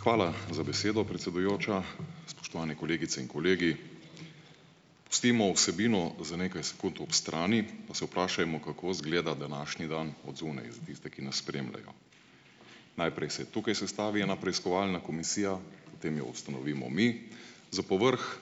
Hvala za besedo, predsedujoča. Spoštovane kolegice in kolegi! Pustimo vsebino za nekaj sekund ob strani, pa se vprašajmo, kako izgleda današnji dan od zunaj za tiste, ki nas spremljajo. Najprej se tukaj sestavi ena preiskovalna komisija, potem jo ustanovimo mi, za povrhu